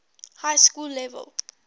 high school level